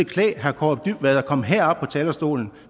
kaare dybvad at komme herop på talerstolen